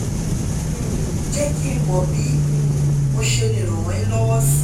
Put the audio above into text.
um je ki mo bi um mo se le rane lowo si